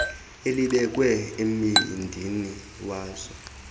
elibekwe embindini wazo